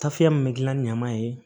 Tafe min be gilan ɲaman ye